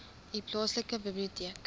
u plaaslike biblioteek